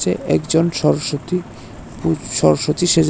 যে একজন সরস্বতী পূজ সরস্বতী সেজেছ--